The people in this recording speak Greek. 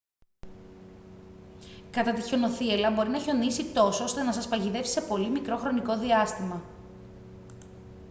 κατά τη χιονοθύελλα μπορεί να χιονίσει τόσο ώστε να σας παγιδεύσει σε πολύ μικρό χρονικό διάστημα